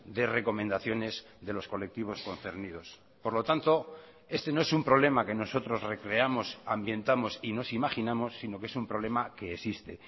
de recomendaciones de los colectivos concernidos por lo tanto este no es un problema que nosotros recreamos ambientamos y nos imaginamos si no que es un problema que existe